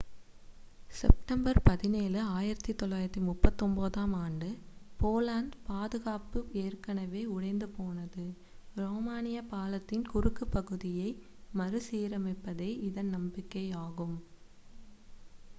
September 17 1939 ஆண்டு போலந்து பாதுகாப்பு ஏற்கனவே உடைந்துபோனது ரோமானிய பாலத்தின் குறுக்கு பகுதியை மறுசீரமைப்பதே இதன் நம்பிக்கை ஆகும்